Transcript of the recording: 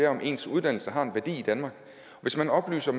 om ens uddannelse har en værdi i danmark hvis man oplyser